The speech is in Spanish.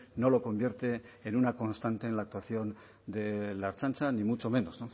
no lo convierte en una constante en la actuación de la ertzaintza ni mucho menos